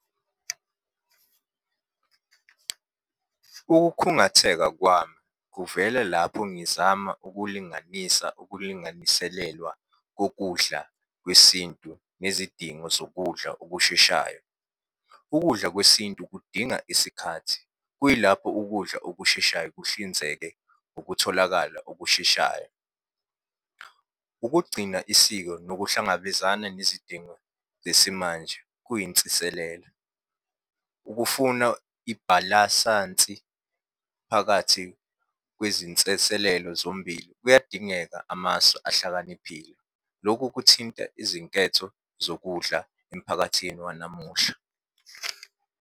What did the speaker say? Ukukhungatheka kwami, kuvela lapho ngizama ukulinganisa ukulinganiselelwa kokudla kwesintu nezidingo zokudla okusheshayo. Ukudla kwesintu kudinga isikhathi, kuyilapho ukudla okusheshayo kuhlinzeke ukutholakala okusheshayo. Ukugcina isiko nokuhlangabezana nezidingo zesimanje kuyinsiselela. Ukufuna ibhalasansi phakathi kwezinseselelo zombili kuyadingeka amasu ahlakaniphile. Lokhu kuthinta izinketho zokudla emphakathini wanamuhla.